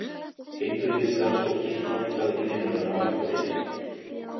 Heilbrigðisstarfsfólki hjálpað í vinnuna á Akureyri